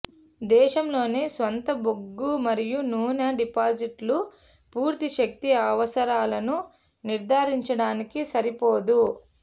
దేశంలోని స్వంత బొగ్గు మరియు నూనె డిపాజిట్లు పూర్తి శక్తి అవసరాలను నిర్ధారించడానికి సరిపోదు